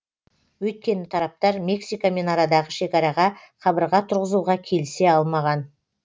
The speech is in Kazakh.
өйткені тараптар мексикамен арадағы шекараға қабырға тұрғызуға келісе алмаған